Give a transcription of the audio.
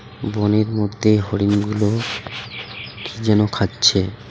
বনের মধ্যে হরিণগুলো কি যেন খাচ্ছে .